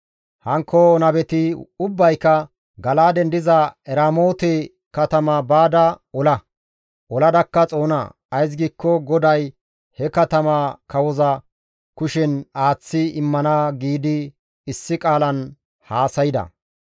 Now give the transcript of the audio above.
Hankko nabeti ubbayka, «Gala7aaden diza Eramoote katama baada ola; oladakka xoona. Ays giikko GODAY he katamaa kawoza kushen aaththi immana» giidi issi qaalan haasayda.